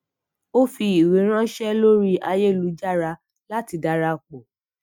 ó fi iwe ranse lori ayelujara lati darapọ